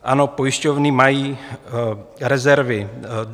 Ano, pojišťovny mají rezervy.